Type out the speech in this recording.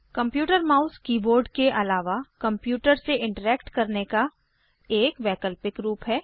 computer mouse keyboard के आलावा computer से इंटरैक्ट करने का एक वैकल्पिक रूप है